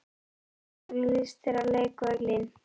Elín: Hvernig líst þér á leikvöllinn?